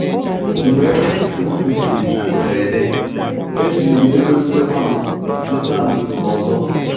Mgbe ekwentị m mebiri na mberede, ejiri m ego nchekwa m zụta m zụta ọzọ.